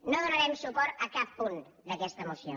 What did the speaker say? no donarem suport a cap punt d’aquesta moció